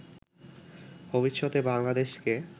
ভবিষ্যতে বাংলাদেশকে